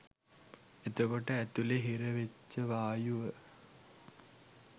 එතකොට ඇතුලෙ හිරවෙච්ච වායුව